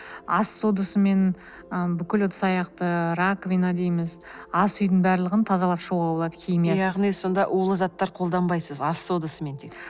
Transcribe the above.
ас содасымен ы бүкіл ыдыс аяқты раковина дейміз ас үйдің барлығын тазалап шығуға болады химиясыз яғни сонда улы заттар қолданбайсыз ас содасымен тек